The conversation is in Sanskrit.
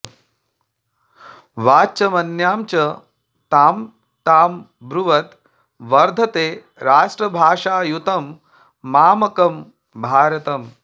वाचमन्यां च तां तां ब्रुवद् वर्धते राष्ट्रभाषायुतं मामकं भारतम्